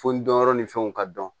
Fo n dɔnyɔrɔ ni fɛnw ka dɔn